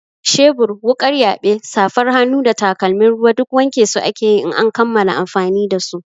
Shebur, wuƙar yaɓe, safar hannu da takalmin ruwa duk wanke su ake yi in an kammala amfani da su.